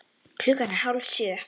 Klukkan er hálf sjö.